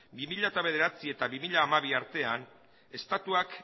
bi mila bederatzi eta bi mila hamabi artean estatuak